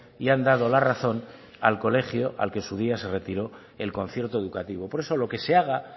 y han dado la razón al colegio al que en su día se retiró el concierto educativo por eso lo que se haga